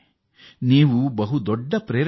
ಇದು ಎಲ್ಲರಿಗೂ ತೃಪ್ತಿದಾಯಕ